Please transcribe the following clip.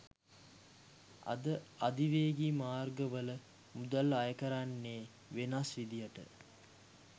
අද අධිවේගී මාර්ගවල මුදල් අයකරන්නේ වෙනස් විදිහට